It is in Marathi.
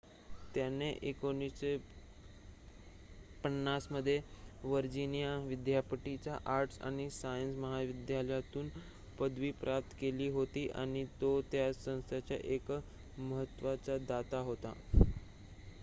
त्याने १९५० मध्ये व्हर्जिनिया विद्यापीठाच्या आर्ट्स आणि सायन्य महाविद्यालयातून पदवी प्राप्त केली होती आणि तो त्या संस्थेचा एक महत्त्वाचा दाता होता